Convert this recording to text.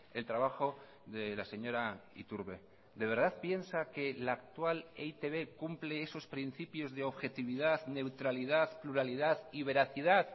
el trabajo de la señora iturbe de verdad piensa que la actual e i te be cumple esos principios de objetividad neutralidad pluralidad y veracidad